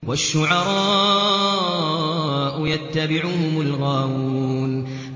وَالشُّعَرَاءُ يَتَّبِعُهُمُ الْغَاوُونَ